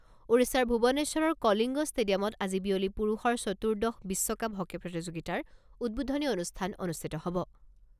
ওড়িশাৰ ভুৱনেশ্বৰৰ কলিংগ ষ্টেডিয়ামত আজি বিয়লি পুৰুষৰ চতুৰ্দশ বিশ্বকাপ হকী প্ৰতিযোগিতাৰ উদ্বোধনী অনুষ্ঠান অনুষ্ঠিত হ'ব।